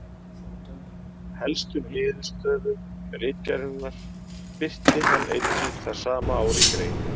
Helstu niðurstöðu ritgerðarinnar birti hann einnig það sama ár í grein.